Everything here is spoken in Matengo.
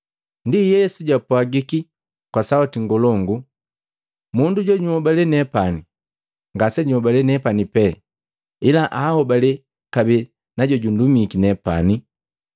Ndi Yesu jwapwagiki kwa sauti ngolongu, “Mundu jojunhobale nepani, ngase junhobale nepani pee, ila anhobalee kabee najojundumiki nepani.